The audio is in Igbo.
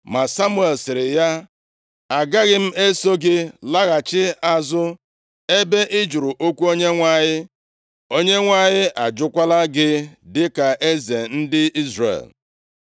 Ma Samuel sịrị ya, “Agaghị m eso gị laghachi azụ. Ebe ị jụrụ okwu Onyenwe anyị, Onyenwe anyị ajụkwala gị dịka eze ndị Izrel!”